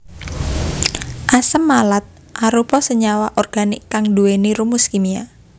Asam malat arupa senyawa organik kang nduwèni rumus kimia